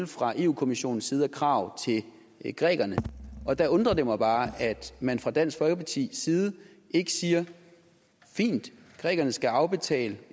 fra europa kommissionens side af krav til grækerne og der undrer det mig bare at man fra dansk folkepartis side ikke siger fint grækerne skal afbetale